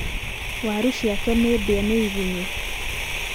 waru ciake nĩ ndĩe nĩ igũnyũ.